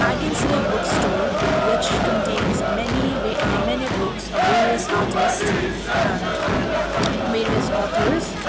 i can see a book store which contains many ve ah many books of various artists and various authors.